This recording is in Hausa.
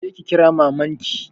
Je ki kira maman ki.